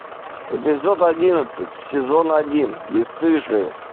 эпизод одиннадцать сезон один бесстыжие